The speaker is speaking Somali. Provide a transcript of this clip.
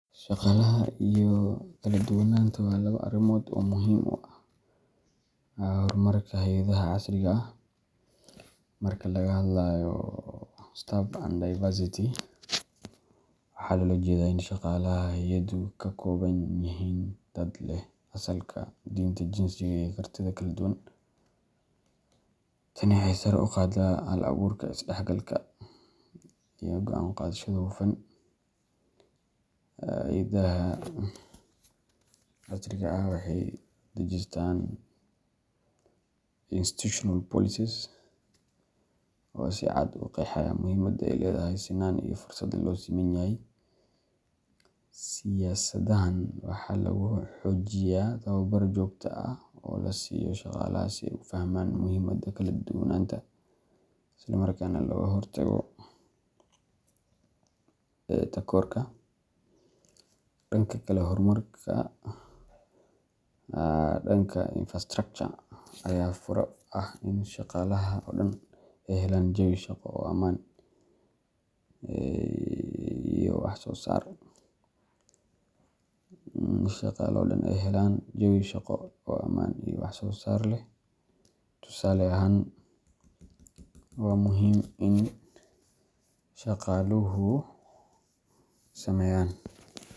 Shaqaalaha iyo kala duwanaanta waa laba arrimood oo muhiim u ah horumarka hay’adaha casriga ah. Marka laga hadlayo staff and diversity, waxaa loola jeedaa in shaqaalaha hay’addu ay ka kooban yihiin dad leh asalka, diinta, jinsiga, iyo kartida kala duwan. Tani waxay sare u qaadaa hal-abuurka, isdhexgalka, iyo go'aan qaadashada hufan. Hay’adaha casriga ah waxay dejistaan institutional policies oo si cad u qeexaya muhiimadda ay leedahay sinnaan iyo fursad loo siman yahay. Siyaasadahan waxaa lagu xoojiyaa tababar joogto ah oo la siiyo shaqaalaha si ay u fahmaan muhiimadda kala duwanaanta, isla markaana looga hortago takoorka. Dhanka kale, horumarka dhanka infrastructure ayaa fure u ah in shaqaalaha oo dhan ay helaan jawi shaqo oo ammaan iyo wax soo saar leh. Tusaale ahaan, waxaa muhiim ah in shaqaluhu sameyaan.